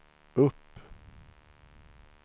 upp